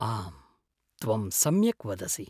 आम्, त्वं सम्यक् वदसि।